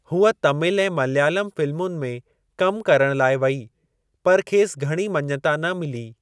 हूअ तामिल ऐं मलयालम फ़िलमुनि में कमु करण लाइ वेई, पर खेसि घणी मञिता न मिली।